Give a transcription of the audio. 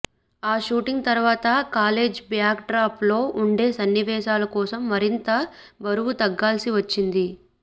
ఆ షూట్ తరవాత college backdrop లో ఉండే సన్నివేశాల కోసం మరింత బరువు తగ్గాల్సి వచ్చింది